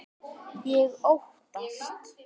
Ég óttast.